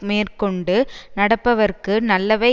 மேற்கொண்டு நடப்பவர்க்கு நல்லவை